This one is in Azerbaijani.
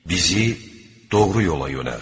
Bizi doğru yola yönəlt.